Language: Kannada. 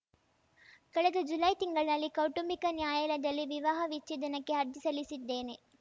ಕಳೆದ ಜುಲೈ ತಿಂಗಳಿನಲ್ಲಿ ಕೌಟುಂಬಿಕ ನ್ಯಾಯಾಲಯದಲ್ಲಿ ವಿವಾಹ ವಿಚ್ಛೇದನಕ್ಕೆ ಅರ್ಜಿ ಸಲ್ಲಿಸಿದ್ದೇನೆ